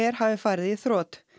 hafi farið í þrot